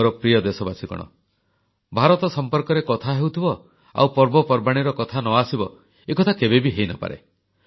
ମୋର ପ୍ରିୟ ଦେଶବାସୀଗଣ ଭାରତ ସମ୍ପର୍କରେ କଥା ହେଉଥିବ ଆଉ ପର୍ବପର୍ବାଣୀର କଥା ନ ଆସିବ ଏକଥା କେବେ ବି ହୋଇନପାରେ